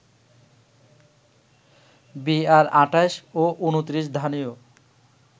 বিআর-২৮ ও ২৯ ধানেও